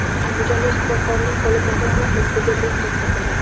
Andijonda shifokorning qo‘li bog‘lanib, ustiga benzin sepildi.